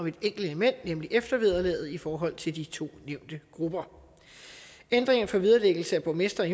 et enkelt element nemlig eftervederlaget i forhold til de to nævnte grupper ændringerne for vederlæggelse af borgmestre og